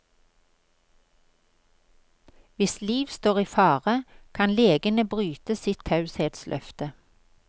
Hvis liv står i fare, kan legene bryte sitt taushetsløfte.